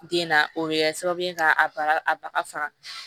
Den na o bɛ kɛ sababu ye k'a baga a baga faga